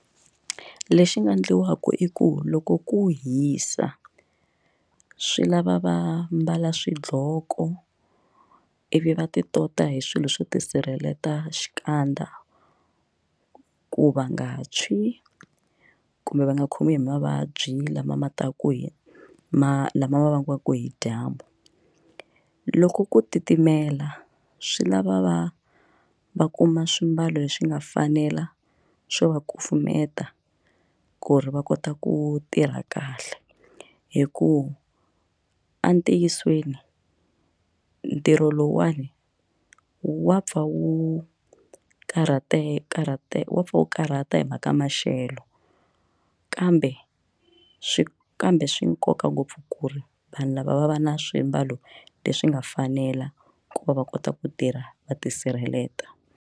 Lexi nga endliwaka i ku loko ku hisa swi lava va mbala swidloko ivi va ti tota hi swilo swo tisirhelela xikandza ku va nga tshwi kumbe va nga khomiwi hi mavabyi lama ma taka hi ma lama vangiwaka hi dyambu loko ku titimela swi lava va va kuma swimbalo leswi nga fanela swo va kufumeta ku ri va kota ku tirha kahle hikuva entiyisweni ntirho lowuwani wa pfa wu karhateka karhateka wa for karhata hi mhaka maxelo kambe swi kambe swi nkoka ngopfu ku ri vanhu lava va va na swimbalo leswi nga fanela ku va va kota ku tirha va tisirheleta.